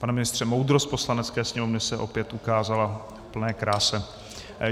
Pane ministře, moudrost Poslanecké sněmovny se opět ukázala v plné kráse.